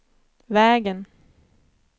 vägen